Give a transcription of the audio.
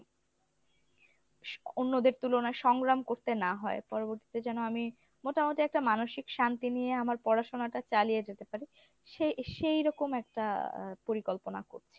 অন্যদের তুলনায় সংগ্রাম করতে না হয় পরবর্তীতে যেন আমি মোটামুটি একটা মানসিক শান্তি নিয়ে আমার পড়াশোনাটা চালিয়ে যেতে পারি সেই সেই রকম একটা আ পরিকল্পনা করছি।